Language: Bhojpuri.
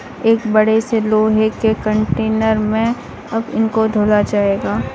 एक बड़े से लोहे के कंटेनर में अब इनको धोया जाएगा।